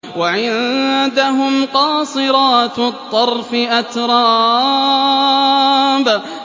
۞ وَعِندَهُمْ قَاصِرَاتُ الطَّرْفِ أَتْرَابٌ